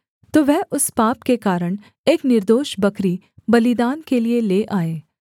तो वह उस पाप के कारण एक निर्दोष बकरी बलिदान के लिये ले आए